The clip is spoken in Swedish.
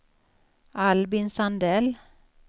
Albin Sandell